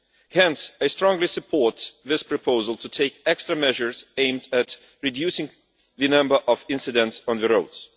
Hence I strongly support this proposal to take extra measures aimed at reducing the number of incidents on the roads.